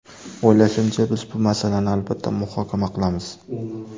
O‘ylashimcha, biz bu masalani albatta muhokama qilamiz.